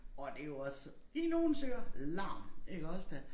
Og det jo også i nogles ører larm iggås da